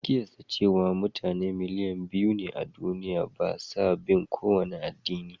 An kiyasta cewa mutane biliyan biyu a duniya ba sa bin kowane addini.